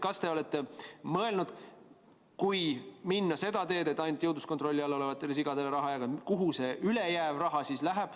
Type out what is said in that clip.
Kas te olete mõelnud, et kui minna seda teed, et anda raha ainult jõudluskontrolli all olevatele sigadele, siis kuhu see ülejäänud raha läheb?